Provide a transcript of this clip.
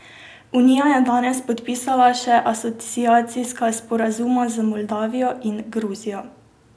Unija je danes podpisala še asociacijska sporazuma z Moldavijo in Gruzijo.